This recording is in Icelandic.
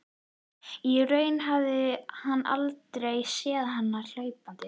Í rauninni hafði hann aldrei séð hana hlaupandi.